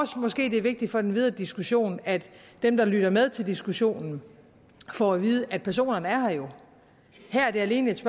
måske er vigtigt for den videre diskussion at dem der lytter med til diskussionen får at vide at personerne jo er her her er det alene et